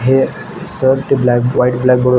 हे सर त्या black white blackboard वर--